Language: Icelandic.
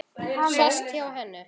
Sest hjá henni.